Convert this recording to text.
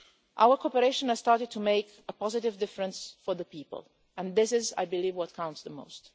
Our cooperation has started to make a positive difference for the people, and this is, I believe, what counts the most.